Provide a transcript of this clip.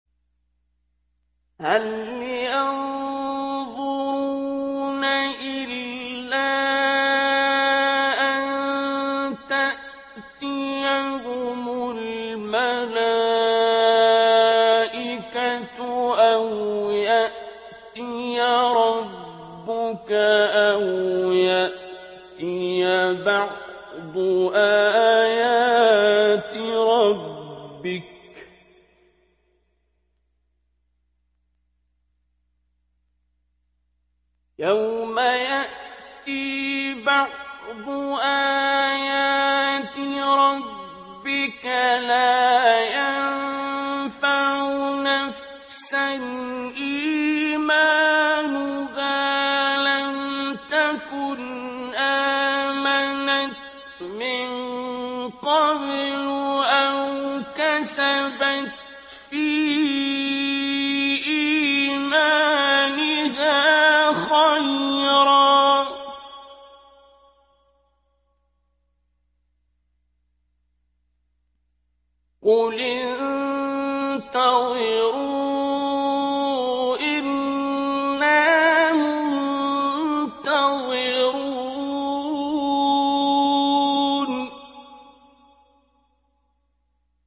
هَلْ يَنظُرُونَ إِلَّا أَن تَأْتِيَهُمُ الْمَلَائِكَةُ أَوْ يَأْتِيَ رَبُّكَ أَوْ يَأْتِيَ بَعْضُ آيَاتِ رَبِّكَ ۗ يَوْمَ يَأْتِي بَعْضُ آيَاتِ رَبِّكَ لَا يَنفَعُ نَفْسًا إِيمَانُهَا لَمْ تَكُنْ آمَنَتْ مِن قَبْلُ أَوْ كَسَبَتْ فِي إِيمَانِهَا خَيْرًا ۗ قُلِ انتَظِرُوا إِنَّا مُنتَظِرُونَ